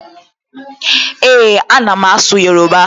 Ee, a na m asụ Yoruba